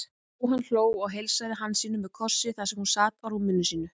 Jóhann hló og heilsaði Hansínu með kossi þar sem hún sat á rúmi sínu.